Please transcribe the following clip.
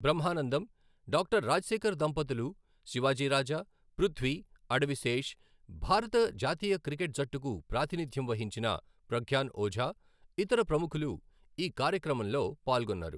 బ్రహ్మానందం, డా రాజశేఖర్ దంపతులు, శివాజీ రాజా, పృథ్వీ, అడవి శేష్, భారత జాతీయ క్రికెట్ జట్టుకు ప్రాతినిథ్యం వహించిన ప్రగ్యాన్ ఓఝా, ఇతర ప్రముఖులు ఈ కార్యక్రమంలో పాల్గొన్నారు.